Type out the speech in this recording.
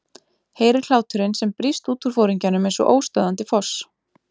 Heyrir hláturinn sem brýst út úr foringjanum eins og óstöðvandi foss.